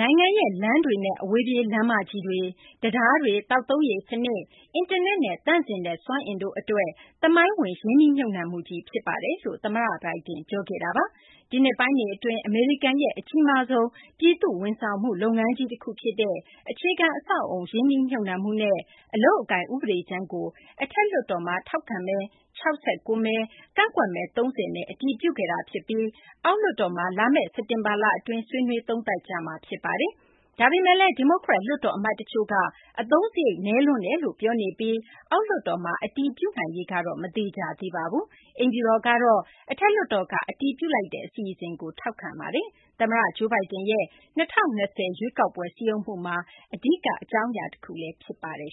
နိုင်ငံရဲ့ လမ်းတွေနဲ့ အဝေးပြေး လမ်းမကြီးတွေ၊ တံတားတွေ၊ သောက်သုံးရေ စနစ်၊ အင်တာနက်နဲ့ သန့်စင်တဲ့ စွမ်းအင်တို့ အတွက် သမိုင်းဝင် ရင်းနှီးမြှုပ်နှံမှုကြီး ဖြစ်ပါတယ်လို့ သမ္မတ Joe Biden ပြောခဲ့တာပါ။ ဒီနှစ်ပိုင်းတွေ အတွင်း အမေရိကန်ရဲ့ အကြီးမားဆုံး ပြည်သူ့ ဝန်ဆောင်မှု လုပ်ငန်းကြီး တခုဖြစ်တဲ့ အခြေခံ အဆောက်အအုံ ရင်းနှီးမြှုပ်နှံမှုနဲ့ အလုပ်အကိုင် ဥပဒေကြမ်းကို အထက်လွှတ်တော်မှာ ထောက်ခံမဲ ၆၉ မဲ၊ ကန့်ကွက်မဲ ၃၀ အတည်ပြုခဲ့တာ ဖြစ်ပြီး အောက်လွှွတ်တော်မှာ လာမယ့် စက်တင်ဘာလ အတွင်း ဆွေးနွေး သုံးသပ်ကြမှာ ဖြစ်ပါတယ်။ ဒါပေမယ့်လည်း ဒီမိုကရက် လွှတ်တော် အမတ်တချို့က အသုံးစရိတ် နည်းလွန်းတယ်လို့ ပြောနေပြီး အောက်လွှတ်တော်မှာ အတည်ပြုနိုင်ရေးကတော့ မသေချာသေးပါဘူး။ အိမ်ဖြူတော်ကတော့ အထက်လွှတ်တော်က အတည်ပြုလိုက်တဲ့ အစီအစဉ်ကို ထောက်ခံပါတယ်။ သမ္မတ Joe Biden ရဲ့ ၂၀၂၀ ရွေးကောက်ပွဲ စည်းရုံးမှုမှာ အဓိက အကြောင်းအရာ တခုလည်း ဖြစ်ပါတယ်